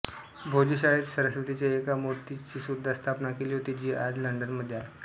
भोजशाळेत सरस्वतीच्या एका मूर्तीचीसुद्धा स्थापना केली होती जी आज लंडनमध्ये आहे